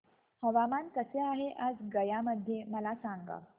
हवामान कसे आहे आज गया मध्ये मला सांगा